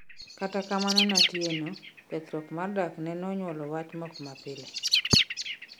Kata kamano ne Atieno, kethruok mar dak ne nonyuolo wach mok ma pile